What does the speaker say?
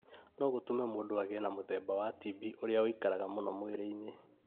no gũtũme mũndũ agĩe na mũthemba wa TB ũrĩa ũikaraga mũno mwĩrĩ-inĩ